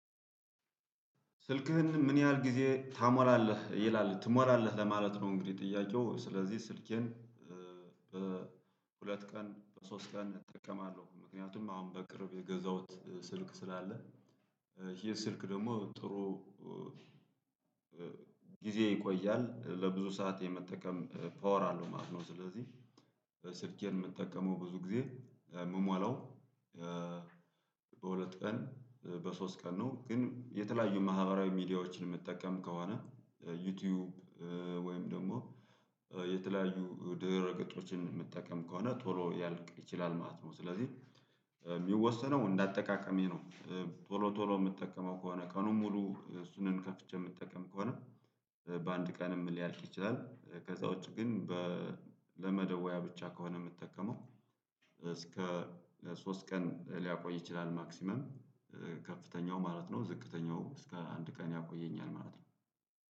ስልክህን ምን ያህል ጊዜ ታሞላለህ ይላል ትሞላህ ለማለት ነው? እንግዲህ ጥያቄው ስለዚህ ስልኬን በሁለት ቀን በሶስት ቀን እጠቀማለሁ ምክንያቱም አሁን በቅርብ የገዛሁት ስልክ ስላለ ይሄ ስልክ ደግሞ ጥሩ ጊዜ ይቆያል ለብዙ ሰዓት የመጠቀም ፓወር አለው ማለት ነው። ስለዚህ ስልኬን የምጠቀመው ብዙ ጊዜ ምሞላው በሁለት ቀን በሶስት ቀን ነው። ግን የተለያዩ ማህበራዊ ሚዲያዎችን ምጠቀም ከሆነ ዩቲዩብ ወይም ደግሞ የተለያዩ ድህረ ገጾችን የምጠቀም ከሆነ ቶሎ ሊያልቅ ይችላል ማለት ነው። ስለዚህ የሚወሰነው እንደ አጠቃቀሜ ነው። ቶሎ ቶሎ የምጠቀመው ከሆነ ቀኑን ሙሉ እሱንም ከፍቼ የምጠቀም ከሆነ በአንድ ቀንም ሊያልቅ ይችላል። ከዛ ውጪ ግን ለመደወያ ብቻ ከሆነ የምጠቀመው እስከ ሶስት ቀን ሊያቆይ ይችላል። ማክሲማም ከፍተኛው ማለት ነው ዝቅተኛው እስከ አንድ ቀን ያቆየኛል ማለት ነው።